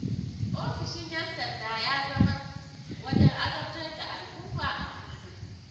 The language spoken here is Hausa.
Ofishin 'yan sanda ya zama wajen azabtar da al'umma a kullum.